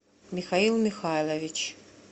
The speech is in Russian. михаил михайлович